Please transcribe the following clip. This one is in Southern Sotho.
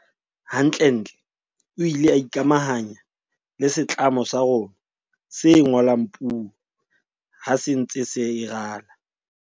Hantlentle o ile a ikamahanya le setlamo sa rona se ngolang puo ha se ntse e rala.